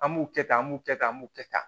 An b'u kɛ tan an b'u kɛ tan b'u kɛ tan